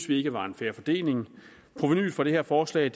vi ikke var en fair fordeling provenuet fra det her forslag